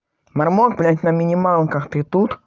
мармок блять на минималках ты тут